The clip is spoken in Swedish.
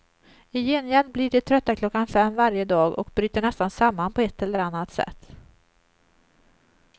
I gengäld blir de trötta klockan fem varje dag och bryter nästan samman, på ett eller annat sätt.